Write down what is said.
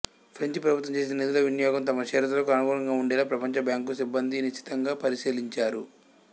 French ప్రభుత్వం చేసే నిధుల వినియోగం తమ షరతులకు అనుగుణంగా ఉండేలా ప్రపంచ బ్యాంకు సిబ్బంది నిశితంగా పరిశీలించారు